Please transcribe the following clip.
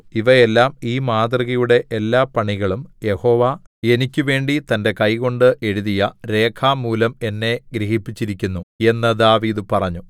ഇവയെല്ലാം ഈ മാതൃകയുടെ എല്ലാപണികളും യഹോവ എനിക്ക് വേണ്ടി തന്റെ കൈകൊണ്ട് എഴുതിയ രേഖാമൂലം എന്നെ ഗ്രഹിപ്പിച്ചിരിക്കുന്നു എന്നു ദാവീദ് പറഞ്ഞു